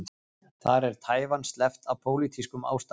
Þar er Taívan sleppt af pólitískum ástæðum.